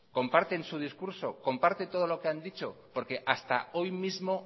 comparten su discurso comparten todo lo que han dicho porque hasta hoy mismo